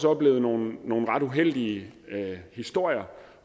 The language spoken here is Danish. oplevet nogle nogle ret uheldige historier